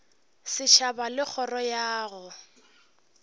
setšhaba le kgoro ya go